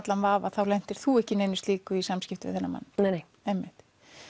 allan vafa þá lentir þú ekki í neinu slíku í samskiptum við þennan mann nei nei einmitt